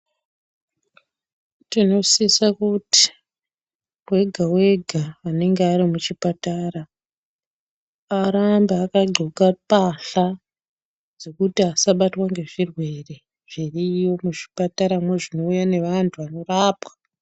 Tinosisa kuti wega wega anenge ari muchipatara arambe akagqoka mbahla dzekuti asabatwa ngezvirwere zvirimuzvipataramwo zvinouya neanthu vanorapwa.